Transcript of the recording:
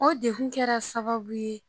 O dekun kɛra sababu ye